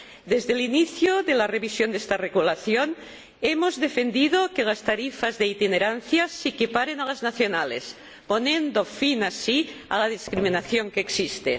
Desde el inicio de la revisión de esta regulación hemos defendido que las tarifas de itinerancia se equiparen a las nacionales, poniendo fin así a la discriminación que existe.